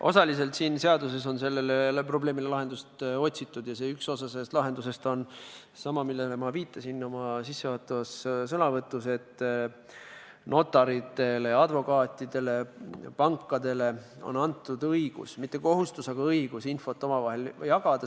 Osaliselt on siin seaduses sellele probleemile lahendust otsitud ja üks osa sellest lahendusest on sama, millele ma viitasin oma sissejuhatavas sõnavõtus: notaritele, advokaatidele, pankadele on antud õigus – mitte kohustus, aga õigus – infot omavahel jagada.